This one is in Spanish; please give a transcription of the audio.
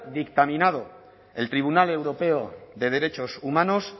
dictaminado el tribunal europeo de derechos humanos